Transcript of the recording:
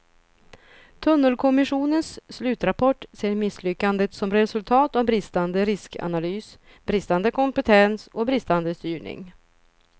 Tunnelkommissionens slutrapport ser misslyckandet som resultat av bristande riskanalys, bristande kompetens och bristande styrning.